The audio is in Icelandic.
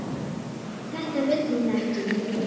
Þetta vill hún ekki.